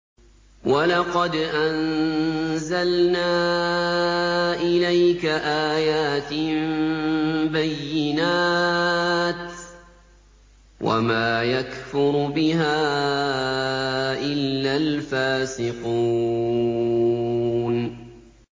وَلَقَدْ أَنزَلْنَا إِلَيْكَ آيَاتٍ بَيِّنَاتٍ ۖ وَمَا يَكْفُرُ بِهَا إِلَّا الْفَاسِقُونَ